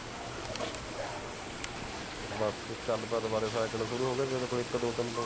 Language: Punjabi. ਬਾਕੀ ਗੱਲ ਬਾਤ ਬਾਰੇ ਸ਼ੁਰੂ ਹੋ ਗੇ